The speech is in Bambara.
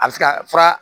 A bɛ se ka fura